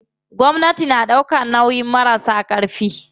Gwamnati na ɗaukan nauyin marasa ƙarfi.